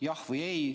Jah või ei?